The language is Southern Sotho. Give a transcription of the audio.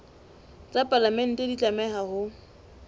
tsa palamente di tlameha ho